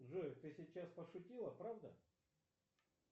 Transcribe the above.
джой ты сейчас пошутила правда